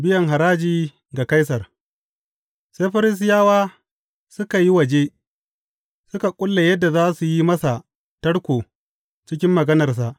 Biyan haraji ga Kaisar Sai Farisiyawa suka yi waje, suka ƙulla yadda za su yi masa tarko cikin maganarsa.